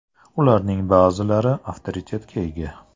Ularning ba’zilari avtoritetga ega.